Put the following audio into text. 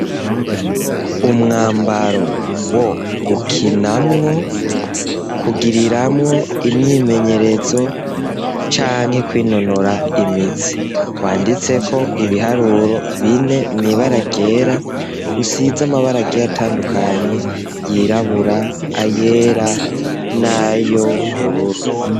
Umwambaro wo gukinamwo, kugiriramwo imyimenyerezo, canke kwinonora imitsi, wanditseko ibiharuro bine mw'ibara ryera, usize amabara agiye atandukanye y'irabura, ayera, nay'ubururu.